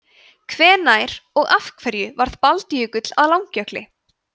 hvenær og af hverju varð baldjökull að langjökli